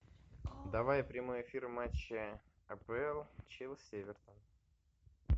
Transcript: давай прямой эфир матча апл челси эвертон